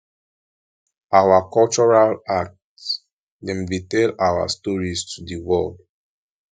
our cultural art dem dey tell our stories to di world